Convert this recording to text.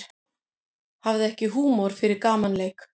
Hafði ekki húmor fyrir gamanleik